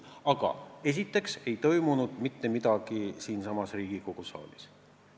Ent esiteks ei toimunud mitte midagi siin Riigikogu saalis.